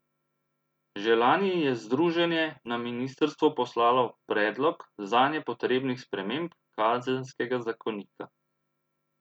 Že lani je združenje na ministrstvo poslalo predlog zanje potrebnih sprememb kazenskega zakonika.